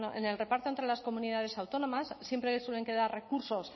en el reparto entre las comunidades autónomas siempre suelen quedar recursos